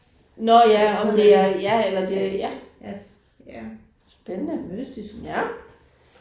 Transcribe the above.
Nåh ja om det er ja eller det er ja. Spændende ja